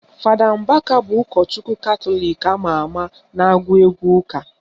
Fada Mbaka bụ ụkọchukwu Katọlik ama ama na-agụ egwu ụka